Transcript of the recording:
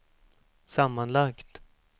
sammanlagt